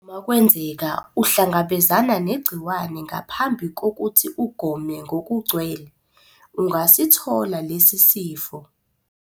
Uma kwenzeka uhlangabezana negciwane ngaphambi kokuthi ugome ngokugcwele, usangasithola lesi sifo.